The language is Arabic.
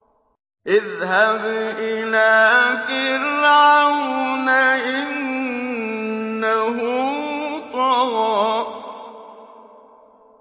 اذْهَبْ إِلَىٰ فِرْعَوْنَ إِنَّهُ طَغَىٰ